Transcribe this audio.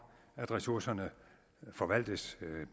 at ressourcerne forvaltes